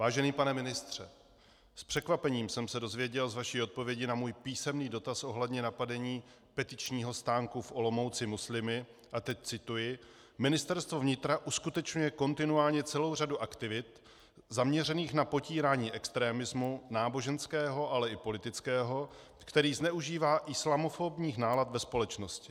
Vážený pane ministře, s překvapením jsem se dozvěděl z vaší odpovědi na můj písemný dotaz ohledně napadení petičního stánku v Olomouci muslimy - a teď cituji: "Ministerstvo vnitra uskutečňuje kontinuálně celou řadu aktivit zaměřených na potírání extremismu, náboženského, ale i politického, který zneužívá islamofobních nálad ve společnosti."